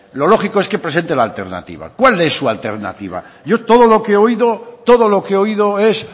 lo lógico es que presente la alternativa cuál es su alternativa yo todo lo que he oído todo lo que he oído es